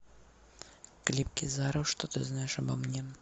клип кизару что ты знаешь обо мне